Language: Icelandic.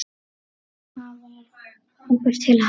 Það varð okkur til happs.